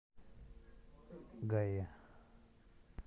гая